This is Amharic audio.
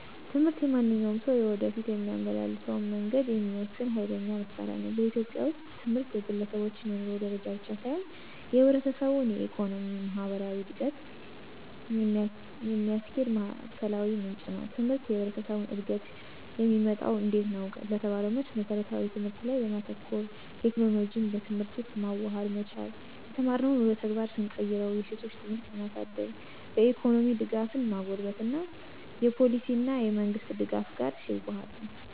ትምህርት የማንኛውም ሰው የወደፊት የሚያመላልሰውን መንገድ የሚወስን ኋይለኛ መሳሪያ ነው። በኢትዮጵያ ውስጥ ትምህርት የግለሰቦች የኑሮ ደረጃ ብቻ ሳይሆን የህብረተሰቡን የኢኮኖሚ፣ ማህበራዊ እድገት የሚያስኪድ ማዕከላዊ ምንጭ ነው። ትምህርት የህብረተሰቡን እድገት የሚመጣው እንዴት ነው? ለተባለው መልስ መስረታዊ ትምህርት ላይ በማተኮር፣ የቴክኖሎጂን በትምህርት ውስጥ ማዋሃድ መቻል፣ የተማርነውን ወደ ተግባር ስንቀይርው፣ የሴቶችን ትምህርት ለማሳድግ፣ በኢኮኖሚ ደጋፍን ማጎልበት እና የፓሊሲ እና የመንግሥት ደጋፍ ጋር ሲዋሀድ ነው።